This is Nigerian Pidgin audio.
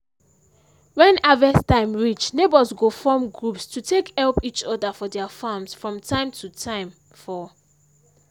when harvest time reach neighbours go form groups to take help each other for their farms from time to time for